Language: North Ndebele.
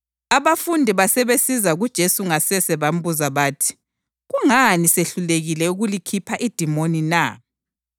Abafundi basebesiza kuJesu ngasese bambuza bathi, “Kungani sehlulekile ukulikhupha idimoni na?”